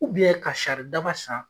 ka sari daba san.